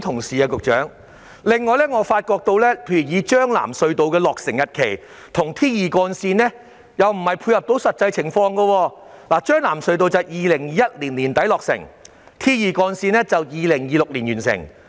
此外，將軍澳─藍田隧道和 T2 主幹路的落成日期未能配合實際情況，將藍隧道在2021年年底落成，而 T2 主幹路則在2026年完成。